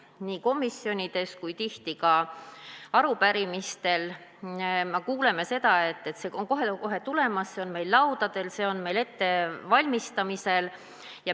Nii komisjonides kui tihti ka arupärimistele vastamisel me kuuleme, et see on kohe tulemas, see on meil laudadel, see on meil ettevalmistamisel.